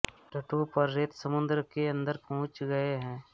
तटों पर रेत समुद्र के अन्दर पहुँच गए है